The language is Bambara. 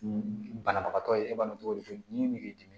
Banabagatɔ ye e b'a dɔn cogo di k'i dimi